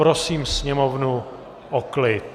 Prosím sněmovnu o klid.